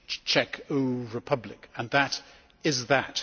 Czech Republic, and that is that.